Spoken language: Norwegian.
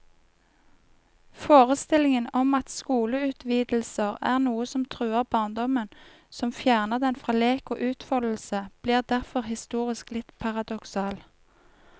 Forestillingen om at skoleutvidelser er noe som truer barndommen, som fjerner den fra lek og utfoldelse, blir derfor historisk litt paradoksal.